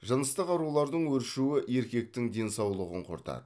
жыныстық аурулардың өршуі еркектің денсаулығын құртады